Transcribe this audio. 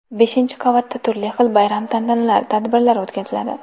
Beshinchi qavat da turli xil bayram-tantanalar, tadbirlar o‘tkaziladi.